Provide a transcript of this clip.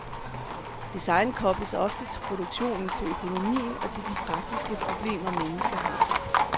Design kobles oftest til produktionen, til økonomien og til de praktiske problemer mennesker har.